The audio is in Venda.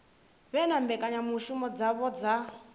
vhe na mbekanyamushumo dzavho dza